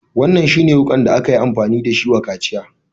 Wannan shi ne wukan da akayi amfani da shi wa kaciyan?